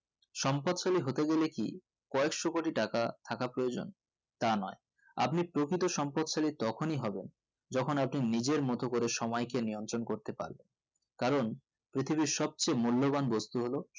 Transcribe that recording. সম্পদশালী হতে গেলে কি কয়েকশো কোটি টাকা থাকা প্রয়োজন তা নোই আপনি প্রকৃত সম্পদ শালী তখনি হবেন যেকোন আপনি নিকের মতো করে সময়কে নিয়ন্ত্রণ করতে পারবে কারণ পৃথিবীর সব থেকে মূল্যবান বস্তু হলো